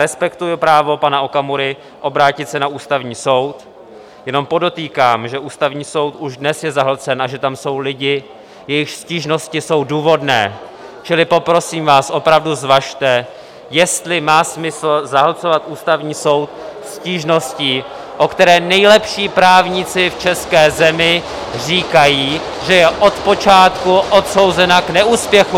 Respektuji právo pana Okamury obrátit se na Ústavní soud, jenom podotýkám, že Ústavní soud už dnes je zahlcen a že tam jsou lidi, jejichž stížnosti jsou důvodné, čili poprosím vás, opravdu važte, jestli má smysl zahlcovat Ústavní soud stížností, o které nejlepší právníci v české zemi říkají, že je od počátku odsouzena k neúspěchu.